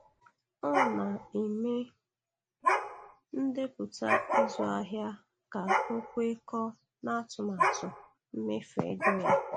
Ọ na-eme ndepụta ịzụ ahịa ka ọ kwekọọ n'atụmatụ mmefu ego ya